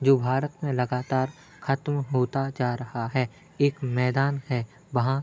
जो भारत मे लगातार खत्म होता जा रहा है। एक मैदान है वहाँ --